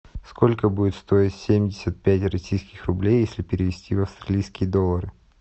сколько будет стоить семьдесят пять российских рублей если перевести в австралийские доллары